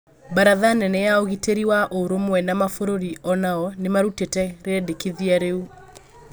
Baratha nene ya ũgitĩri wa ũrũmwe wa maburũri onao nimarũtĩte rĩendekithia riũ